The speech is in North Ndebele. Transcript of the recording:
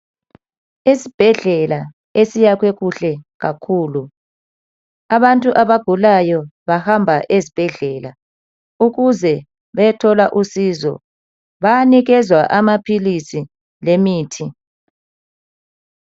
Esibhedlela esiyakhwe kuhle kakhulu, abantu abagulayo bahamba ezibhedlela ukuze bayethola usizo. Bayanikezwa amaphilisi lemithi